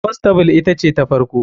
Constable ita ce ta farko.